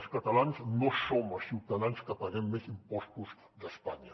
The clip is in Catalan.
els catalans no som els ciutadans que paguem més impostos d’espanya